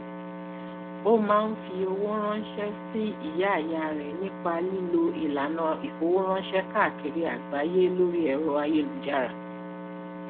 o máa ń fi owó ránṣẹ sí ìyá ìyá rẹ nípa lílo ìlànà ìfowóránṣẹ káàkiri àgbáyé lórí ẹro ayélujára